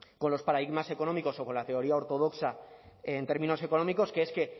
con los paradigmas económicos o con la teoría ortodoxa en términos económicos que es que